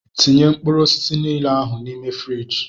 Tinye mkpụrụ osisi niile ahụ n'ime fruidge!!!